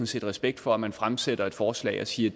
set respekt for at man fremsætter et forslag og siger